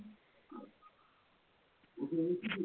ভোক লাগিছে নিকি